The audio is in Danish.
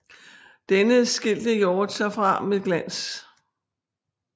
Denne skilte Hjort sig fra med glans